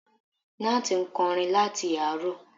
Nátì ń kọrin láti àárọ̀